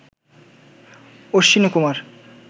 Ashwinikumar